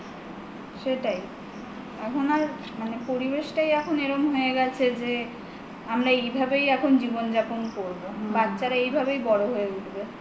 সেটাই এখন আর মানে পরিবেশটাই এখন এরকম হয়ে গেছে যে আমরা এইভাবেই এখন জীবন যাপন করব বাচ্ছারা এইভাবেই বড় হয়ে উঠবে